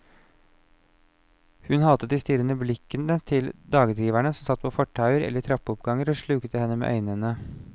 Hun hatet de strirrende blikkende til dagdriverne som satt på fortauer eller i trappeoppganger og slukte henne med øynene.